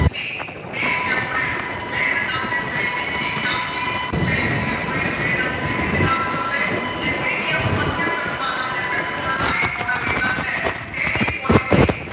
policy એક april બે હજાર ને ત્રેવીસ થી ક્યાર થી પેલી april ત્રેવીસ થી અગું થશે જે medium માધ્યમ કક્ષા ના જે messenger light motor vehicle જે છે એની policy